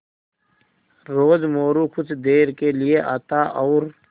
रोज़ मोरू कुछ देर के लिये आता और